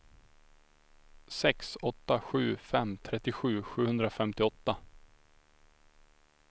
sex åtta sju fem trettiosju sjuhundrafemtioåtta